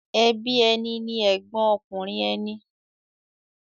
Ẹbí ẹni ni ẹ̀gbọ́n ọkùnrin ẹni.